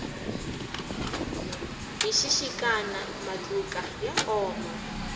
hi xixikana matluka ya oma